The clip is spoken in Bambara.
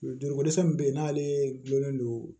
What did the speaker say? Joliko dɛsɛ min bɛ yen n'ale gulonlen don